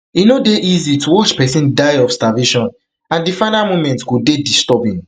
e no dey easy to watch pesin die of starvation and di final moments go dey disturbing